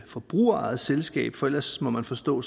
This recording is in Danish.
forbrugerejet selskab for ellers må man forstå